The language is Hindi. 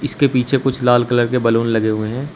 इसके पीछे कुछ लाल कलर के बैलून लगे हुए हैं।